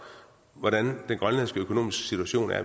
hvordan den grønlandske økonomiske situation er